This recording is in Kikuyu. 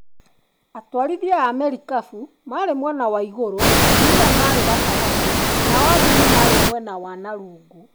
Atwarithia a marikabu maarĩ mwena wa igũrũ, atumia maarĩ gatagatĩ, nao athuri maarĩ mwena wa na rungu.